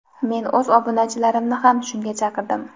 men o‘z obunachilarimni ham shunga chaqirdim.